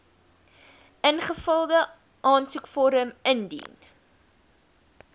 ingevulde aansoekvorm indien